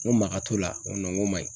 N ko makat'o la nko nko maɲi.